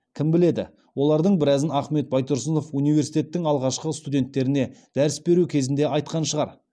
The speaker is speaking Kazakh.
кім біледі олардың біразын ахмет байтұрсынов университеттің алғашқы студенттеріне дәріс беру кезінде айтқан шығар